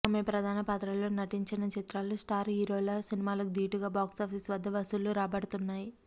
ఆమె ప్రధాన పాత్రలో నటించిన చిత్రాలు స్టార్ హీరోల సినిమాలకు ధీటుగా బాక్సాఫీస్ వద్ద వసూళ్లు రాబడుతున్నాయి